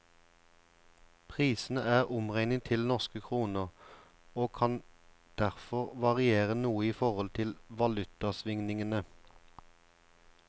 Prisene er omregnet til norske kroner, og kan derfor variere noe i forhold til valutasvingningene.